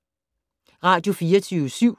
Radio24syv